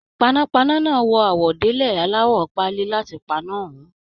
Panápaná náà wọ àwọ̀délẹ̀ alawọ páálí láti paná ọhùn.